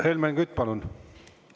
Helmen Kütt, palun!